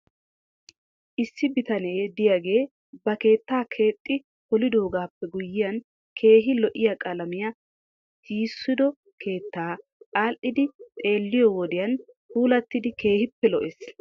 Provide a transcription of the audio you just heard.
Issi bitane diyaagee ba keettaa keexxi polidoogaappe guyyiyan keehi lo'iyaa qalamiyaa tiyssido keettay aadhdhiiddi xeelliyoo wodiyan puulattidi keehippe lo'ees .